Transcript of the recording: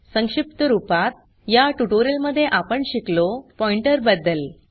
संक्षिप्त रूपात या ट्यूटोरियल मध्ये आपण शिकलो पॉइंटर बदद्ल